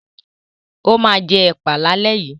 Ó máa jẹ ẹ̀pà lálẹ́ yìí.